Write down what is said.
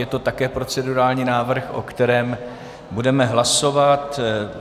Je to také procedurální návrh, o kterém budeme hlasovat.